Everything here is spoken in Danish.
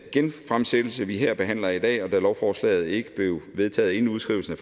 genfremsættelse vi her behandler i dag og da lovforslaget ikke blev vedtaget inden udskrivelsen af